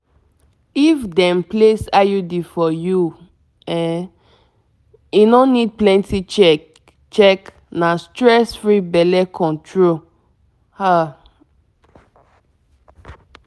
if you dey reason implant e dey drop hormone small-small steady um — make belle um no enter. you know na? true tr